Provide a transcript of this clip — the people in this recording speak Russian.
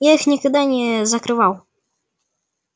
я их никогда не закрывал